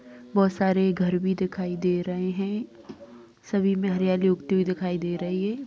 बोहत सारी घर भी दिखाई दे रहे हैं। सभी में हरियाली उगती हुई दिखाई दे रही है।